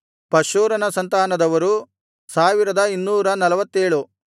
ಪಷ್ಹೂರನ ಸಂತಾನದವರು 1247